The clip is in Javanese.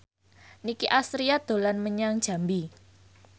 Nicky Astria dolan menyang Jambi